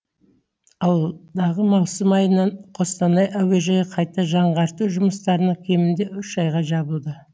алдағы маусым айынан қостанай әуежайы қайта жаңғарту жұмыстарына кемінде үш айға жабылады